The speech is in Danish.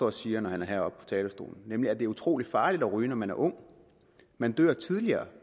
og siger når han er heroppe på talerstolen nemlig at det er utrolig farligt at ryge når man er ung man dør tidligere